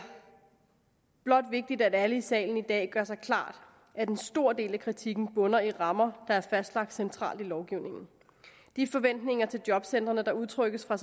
blot vigtigt at alle i salen i dag gør sig klart at en stor del af kritikken bunder i rammer der er fastlagt centralt i lovgivningen de forventninger til jobcentrene der udtrykkes fra